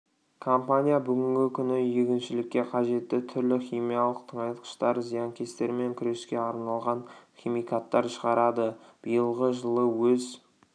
компания бүгінгі күні егіншілікке қажетті түрлі химиялық тыңайтқыштар зиянкестермен күреске арналған химикаттар шығарады биылғы жылы өз